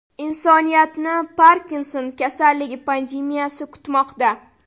Insoniyatni Parkinson kasalligi pandemiyasi kutmoqda.